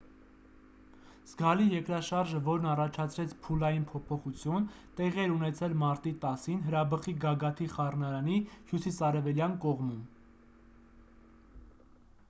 զգալի երկրաշարժը որն առաջացրեց փուլային փոփոխություն տեղի էր ունեցել մարտի 10-ին հրաբխի գագաթի խառնարանի հյուսիսարևելյան կողմում